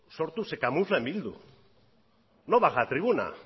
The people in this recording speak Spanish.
sortu se camufla en bildu no baja a tribuna